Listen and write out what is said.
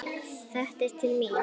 Þetta er til mín!